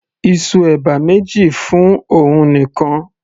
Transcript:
ìsù ẹ̀bà méjì fún òun nìkan